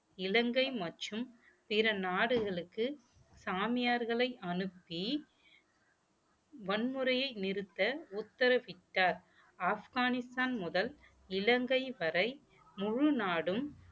இலங்கை மற்றும் பிற நாடுகளுக்கு சாமியார்களை அனுப்பி வன்முறையை நிறுத்த உத்தரவிட்டார் ஆப்கானிஸ்தான் முதல் இலங்கை வரை முழு நாடும்